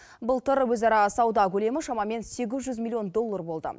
былтыр өзара сауда көлемі шамамен сегіз жүз миллион доллар болды